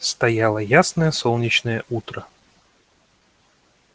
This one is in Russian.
стояло ясное солнечное утро